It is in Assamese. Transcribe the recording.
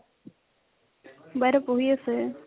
বাইদেও পঢ়ি আছে